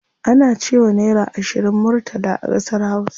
Ana cewa naira ashirin murtala a ƙasar hausa.